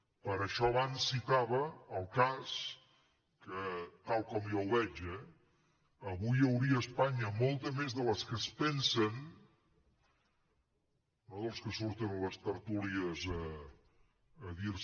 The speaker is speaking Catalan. per això abans citava el cas que tal com jo ho veig avui n’hi hauria a espanya molta més de les que es pensen no dels que surten a les tertúlies a dir se